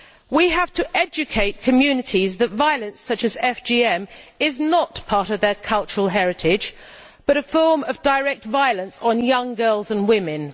We have to educate communities that violence such as FGM is not part of their cultural heritage but a form of direct violence on young girls and women.